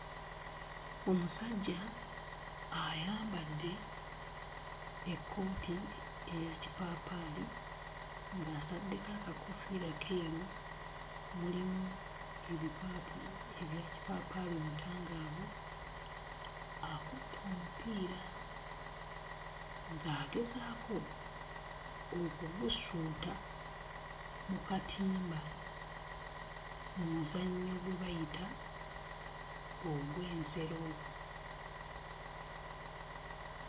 Omusajja ayambadde ekkooti eyakipaapaali ng'ataddeko akakoofiira keeru mulimu ebipaapi ebya kipaapaali omutangaavu. Akutte omupiira ng'agezaako okugusuuta mu katimba mu muzannyo gwe bayita ogw'ensero.